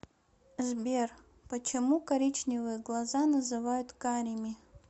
сбер почему коричневые глаза называют карими